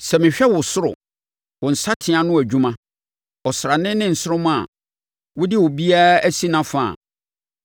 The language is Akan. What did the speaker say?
Sɛ mehwɛ wo soro, wo nsateaa ano adwuma; ɔsrane ne nsoromma a wode obiara asi nʼafa a,